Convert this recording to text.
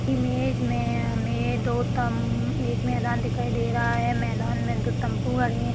Image में हमें दो तम-- एक मैदान दिखाई दे रहा है मैदान में दो तम्बू गड़े हैं।